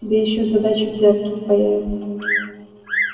тебе ещё за дачу взятки впаяют